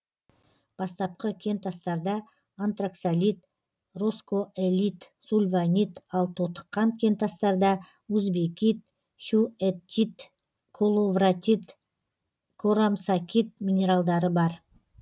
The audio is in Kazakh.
бастапқы кентастарда антраксолит роскоэлит сульванит ал тотыққан кентастарда узбекит хьюэттит коловратит корамсакит минералдары бар